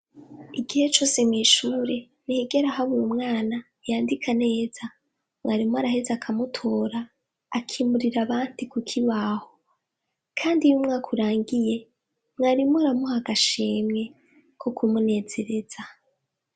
Igihe cose mw'ishure ntihigera habura umwana yandika neza mwarimu araheza akamutora akimurira abandi ku kibaho kandi iyo umwaka urangiye mwarimu aramuha agashimwe ko kumunezereza.